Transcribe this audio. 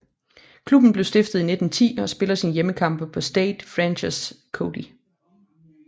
Klubben blev stiftet i 1910 og spiller sine hjemmekampe på Stade François Coty